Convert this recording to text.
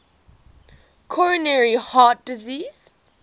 coronary heart disease